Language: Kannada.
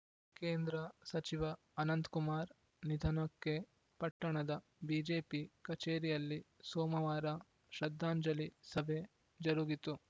ಕೇಂದ್ರ ಸಚಿವ ಅನಂತ್ ಕುಮಾರ್‌ ನಿಧನಕ್ಕೆ ಪಟ್ಟಣದ ಬಿಜೆಪಿ ಕಚೇರಿಯಲ್ಲಿ ಸೋಮವಾರ ಶ್ರದ್ದಾಂಜಲಿ ಸಭೆ ಜರುಗಿತು